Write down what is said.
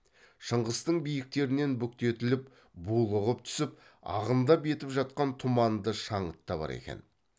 шыңғыстың биіктерінен бүктетіліп булығып түсіп ағындап етіп жатқан тұманды шаңыт та бар екен